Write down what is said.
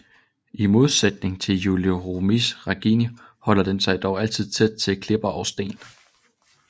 I modsætning til Julidochromis regani holder den sig dog altid tæt til klipper og sten